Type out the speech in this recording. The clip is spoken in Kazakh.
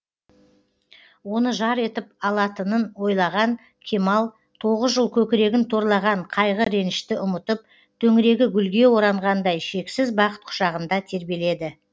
оны жар етіп алатынын ойлаған кемал тоғыз жыл көкірегін торлаған қайғы ренжішті ұмытып төңірегі гүлге оранғандай шексіз бақыт құшағында тербеледі